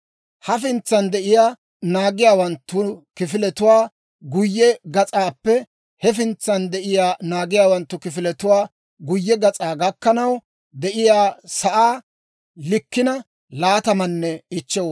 Hafintsan de'iyaa naagiyaawanttu kifiletuwaa guyye gas'aappe hefintsan de'iyaa naagiyaawanttu kifiletuwaa guyye gas'aa gakkanaw de'iyaa sa'aa likkina 25 wad'aa gideedda.